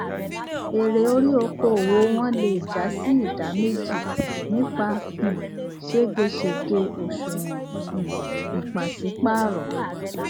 èrè órí okòòwò wọn lé jásí ìdáméjì nípa um ségesège òṣùwòn um ìpásípàrọ